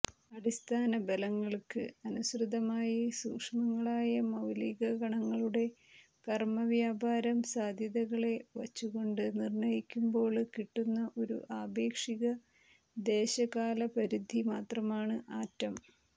അടിസ്ഥാനബലങ്ങള്ക്ക് അനുസൃതമായി സൂക്ഷ്മങ്ങളായ മൌലികകണങ്ങളുടെ കര്മ്മവ്യാപാരം സാധ്യതകളെ വച്ചുകൊണ്ട് നിര്ണ്ണയിക്കുമ്പോള് കിട്ടുന്ന ഒരു ആപേക്ഷിക ദേശകാലപരിധി മാത്രമാണ് ആറ്റം